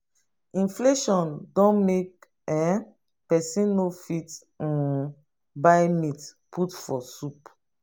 inflation don make um pesin no fit um buy meat put for soup.